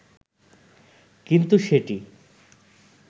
কিন্তু সেটি